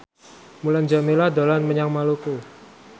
Mulan Jameela dolan menyang Maluku